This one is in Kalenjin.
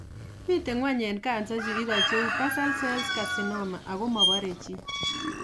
Miten ng'wony en kansa chu igo cheu basal cell carcinoma ago mobore chi